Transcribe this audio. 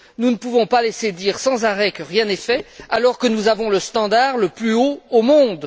Nous ne pouvons pas laisser dire sans arrêt que rien n'est fait, alors que nous avons le standard le plus haut au monde.